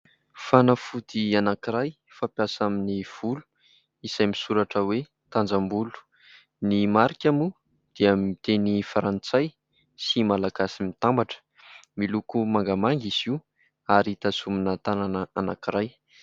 Fanafody anankiray fampiasa amin'ny volo izay misoratra hoe "Tanjambolo". Ny marika moa dia amin'ny teny frantsay sy malagasy mitambatra. Miloko mangamanga izy io ary tazomina tanana anankiray.